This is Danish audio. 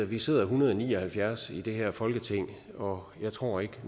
vi sidder en hundrede og ni og halvfjerds i det her folketing og jeg tror ikke